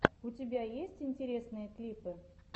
у тебя есть интересные клипы